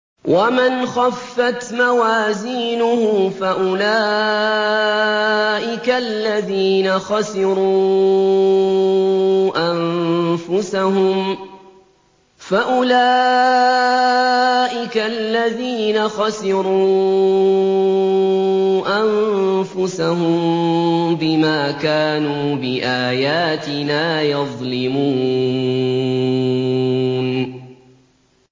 وَمَنْ خَفَّتْ مَوَازِينُهُ فَأُولَٰئِكَ الَّذِينَ خَسِرُوا أَنفُسَهُم بِمَا كَانُوا بِآيَاتِنَا يَظْلِمُونَ